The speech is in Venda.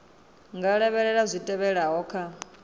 nga lavhelela zwi tevhelaho kha